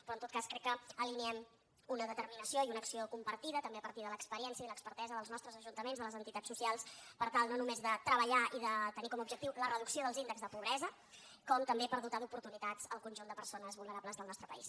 però en tot cas crec que alineem una determinació i una acció compartida també a partir de l’experiència i de l’expertesa dels nostres ajuntaments de les entitats socials per tal no només de treballar i de tenir com a objectiu la reducció dels índexs de pobresa com també per dotar d’oportunitats el conjunt de persones vulnerables del nostre país